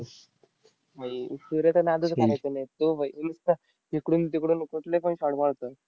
भाई, सूर्याचा नादच करायचा नाही. तो भाई नुसता इकडून तिकडून कुठले पण shot मारतो.